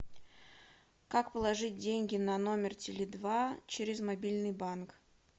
как положить деньги на номер теле два через мобильный банк